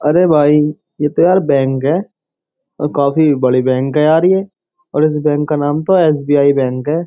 अरे भाई ये तो यार बैंक है और काफी बड़ी बैंक है यार ये और इस बैंक का नाम तो एसबीआई बैंक है।